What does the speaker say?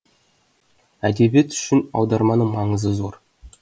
әдебиет үшін аударманың маңызы зор